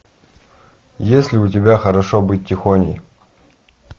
есть ли у тебя хорошо быть тихоней